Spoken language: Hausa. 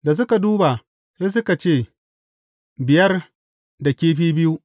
Da suka duba, sai suka ce, Biyar da kifi biyu.